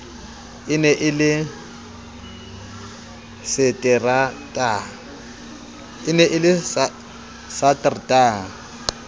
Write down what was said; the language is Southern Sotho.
e ne e le satertaha